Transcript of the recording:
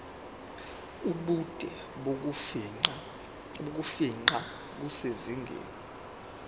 ubude bokufingqa kusezingeni